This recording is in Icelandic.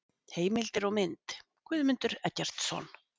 Heimildir og mynd: Guðmundur Eggertsson.